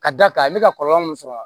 Ka d'a kan a bɛ ka kɔlɔlɔ mun sɔrɔ a la